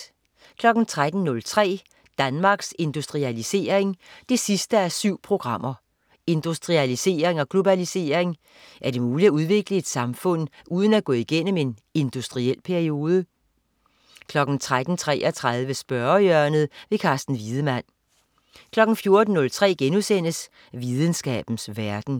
13.03 Danmarks Industrialisering 7:7. Industrialisering og globalisering. Er det muligt at udvikle et samfund uden at gå igennem en industriel periode? 13.33 Spørgehjørnet. Carsten Wiedemann 14.03 Videnskabens verden*